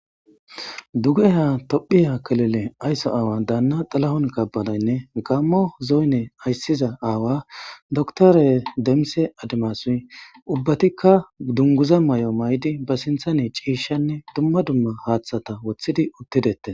Duge ha tophiya kelele aysso aawa daanna xalahon kabalaynne gammo zooyne ayssiza aawa doktore demse adamasuy ubbatikka dunguza may7o may7di ba sinthane ciishanne dumma dumma haaththata woththidi uttidettes.